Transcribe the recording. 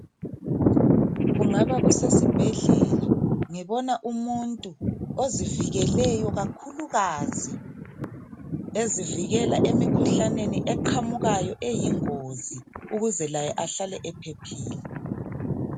Kungaba kusesibhedlela ngibona umuntu ozivikeleyo kakhulukazi ezivikela emkhuhlaneni eqhamukayo eyingozi ukuze laye ahlale ephephile.